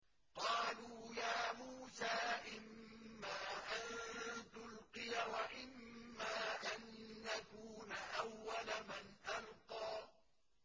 قَالُوا يَا مُوسَىٰ إِمَّا أَن تُلْقِيَ وَإِمَّا أَن نَّكُونَ أَوَّلَ مَنْ أَلْقَىٰ